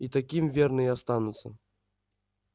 и таким верно и останутся